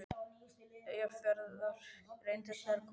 Eyjafjarðar, og reyndust þær koma til greina.